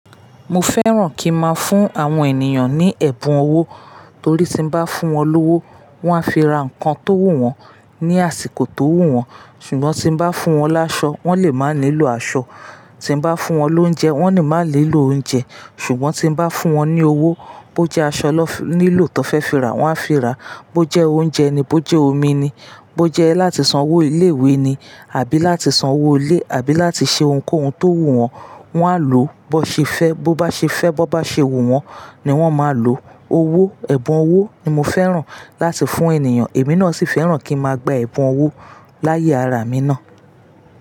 Mo fẹ́ràn kí n máa fún àwọn ènìyàn ní ẹ̀bùn owó torí tí n bá fún wọn lówó, wọ́n á fi ra nǹkan tó wù wọn ní àsìkò tó wù wọn. Ṣùgbọ́n tí n bá fún wọn láṣọ, wọ́n lè má nílò aṣọ, tí n bá fún wọn lóúnjẹ wọ́n ní má nílò óúnjẹ. Ṣùgbọ́n tí n bá fún wọn ní owó, bó jẹ́ aṣọ lọ nílò tó fẹ́ fi ra, wọ́n á fi ra, bó jẹ́ óúnjẹ ni, bó jẹ́ omi ni, bó jẹ́ láti san owó ilé ìwé ni àbí láti san owó ilé àbí láti ṣe ohunkóhun tó wù wọ́n, wọn á lò bó ṣe fẹ́. Bó bá ṣe fẹ́, bó bá ṣe wù wọ́n ni wọ́n máa lò owó. Ẹ̀bùn owó ni mo fẹ́ràn láti fún ènìyàn. Èmi náà sì fẹ́ràn kí n máa gba ẹ̀bùn owó láyé ara mi ná.